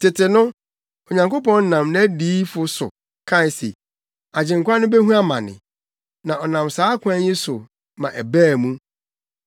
Tete no, Onyankopɔn nam nʼadiyifo so kae se Agyenkwa no behu amane. Na ɔnam saa kwan yi so ma ɛbaa mu.